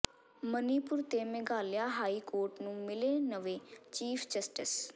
ਮਨੀਪੁਰ ਤੇ Meghalaya high court ਨੂੰ ਮਿਲੇ ਨਵੇਂ ਚੀਫ ਜਸਟਿਸ